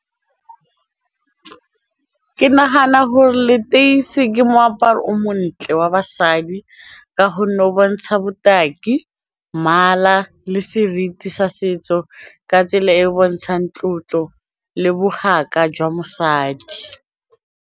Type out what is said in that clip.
Ke nagana gore leteisi ke moaparo o montle wa basadi ka gonne o bontsha botaki, mmala le seriti sa setso ka tsela e e bontshang tlotlo le bogaka jwa mosadi.